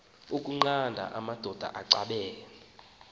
ukunqanda amadoda axabene